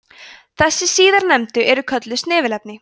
þessi síðarnefndu eru kölluð snefilefni